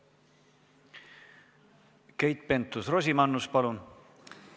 Keit Pentus-Rosimannus, palun!